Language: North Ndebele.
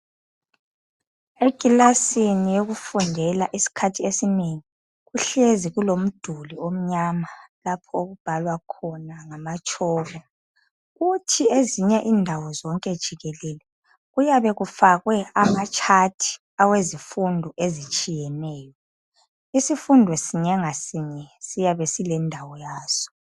Ekilasini yokufundela esikhathini esinengi, kuhlezi kulomduli omnyama lapho okubhalwa khona ngamatshoko. Kuthi ezinye indawo zonke jikelele, kuyabe kufakwe amatshathi awezifundo ezitshiyeneyo isifundo sinye ngasinye siyabe silendawo yaso.